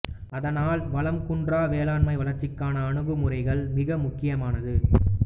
அதனால் வளம் குன்றா வேளாண்மை வளர்ச்சிக்கான அணுகுமுறைகள் மிக முக்கியமானது